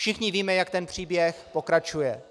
Všichni víme, jak ten příběh pokračuje.